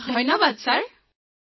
সামূহিক স্বৰঃ ধন্যবাদ মহোদয়